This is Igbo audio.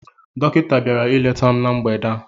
Dọkịta bịara ileta m na mgbede a